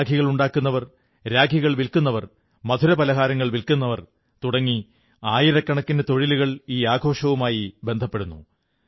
രാഖികളുണ്ടാക്കുവർ രാഖികൾ വില്ക്കുന്നവർ മധുരപലഹാരങ്ങൾ വില്ക്കുന്നവർ തുടങ്ങി ആയിരക്കണക്കിന് തൊഴിലുകൾ ഈ ആഘോഷവുമായി ബന്ധപ്പെടുന്നു